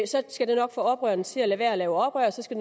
så skal det nok få oprørerne til at lade være at lave oprør og så skal